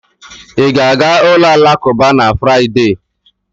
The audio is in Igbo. Ị ga-aga ụlọ alakụba na Fraịde?